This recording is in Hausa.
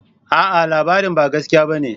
A'a! labarin ba gaskiya bane.